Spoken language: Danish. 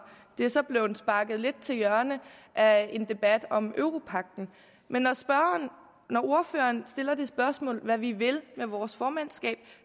det er så blevet sparket lidt til hjørne af en debat om europagten men når ordføreren stiller spørgsmål om hvad vi vil med vores formandskab